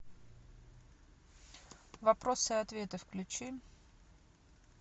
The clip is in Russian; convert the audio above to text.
вопросы и ответы включи